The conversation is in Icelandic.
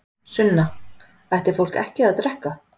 Sunna: Ætti fólk ekki að drekka?